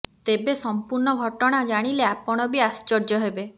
ତେବେ ସମ୍ପୂର୍ଣ୍ଣ ଘଟଣା ଜାଣିଲେ ଆପଣ ବି ଆଶ୍ଚର୍ଯ୍ୟ ହେବେ